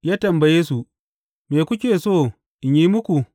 Ya tambaye su, Me kuke so in yi muku?